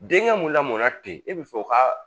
Denkɛ mun lamɔnna ten e bɛ fɛ o ka